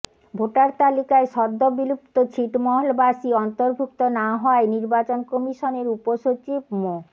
voter তালিকায় সদ্য বিলুপ্ত ছিটমহলবাসী অন্তর্ভুক্ত না হওয়ায় নির্বাচন কমিশনের উপসচিব মো